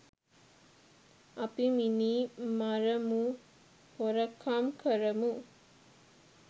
අපි මිනි මරමුහොරකම් කරමු